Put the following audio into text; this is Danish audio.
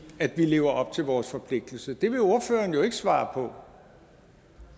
vi lever op til vores forpligtelse det vil ordføreren jo ikke svare på